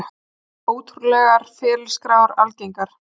Ótrúlegar ferilskrár algengar